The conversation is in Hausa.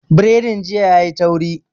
Biredin jiya yayi tauri